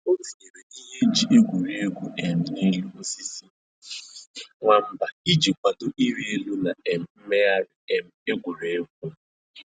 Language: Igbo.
O tinyere ihe eji egwuri egwu um n'elu osisi nwamba iji kwado ịrị elu na um mmegharị um egwuregwu